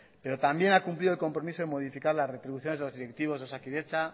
pero también ha cumplido el compromiso de modificar las retribuciones de los directivos de osakidetza